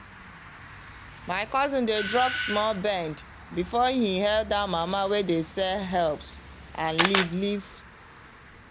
my cousin dey drop small bend before he hail that mama wey dey sell herbs and leaf-leaf.